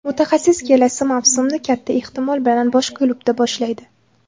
Mutaxassis kelasi mavsumni kata ehtimol bilan boshqa klubda boshlaydi.